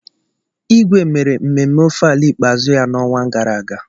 Igwe mere mmemme Ofala ikpeazụ ya n'ọnwa gara aga